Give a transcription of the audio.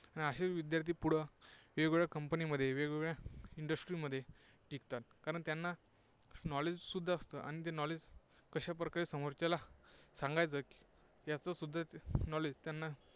आणि असे विद्यार्थी पुढं वेगवेगळ्या company मध्ये, वेगवेगळ्या industry मध्ये टिकतात. कारण त्यांना knowledge सुद्धा असतं, आणि ते knowledge कशा प्रकारे समोरच्याला सांगायचं याचंसुद्धा knowledge त्यांना